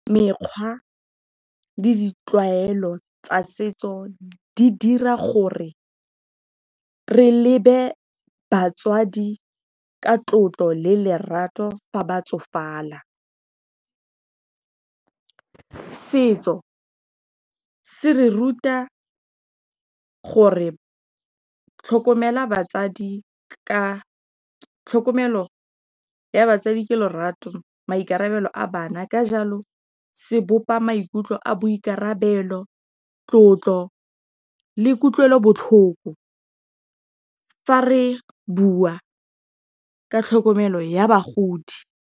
Mekgwa le ditlwaelo tsa setso di dira gore re lebe batswadi ka tlotlo le lerato fa ba tsofala. Setso se re ruta gore, tlhokomelo ya batsadi ke lorato, maikarabelo a bana, ka jalo, se bopa maikutlo a boikarabelo, tlotlo le kutlwelobotlhoko fa re bua ka tlhokomelo ya bagodi.